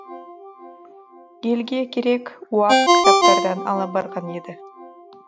елге керек уақ кітаптардан ала барған еді